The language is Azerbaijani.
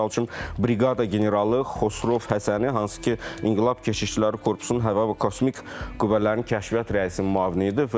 Misal üçün, briqada generalı Xosrov Həsəni, hansı ki, İnqilab Keşikçiləri Korpusunun Hava və Kosmik Qüvvələrin Kəşfiyyat rəisinin müavini idi.